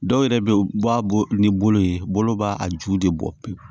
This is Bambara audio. Dɔw yɛrɛ bɛ yen u b'a bɔ ni bolo ye bolo b'a ju de bɔ pewu